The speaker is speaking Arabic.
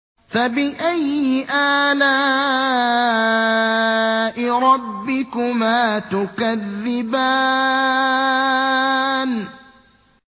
فَبِأَيِّ آلَاءِ رَبِّكُمَا تُكَذِّبَانِ